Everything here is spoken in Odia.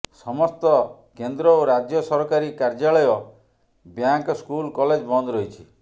ସମସ୍ତ କେନ୍ଦ୍ର ଓ ରାଜ୍ୟ ସରକାରୀ କାର୍ଯ୍ୟାଳୟ ବ୍ୟାଙ୍କ ସ୍କୁଲ କଲେଜ ବନ୍ଦ ରହିଛି